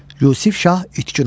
Yusif şah itkin oldu.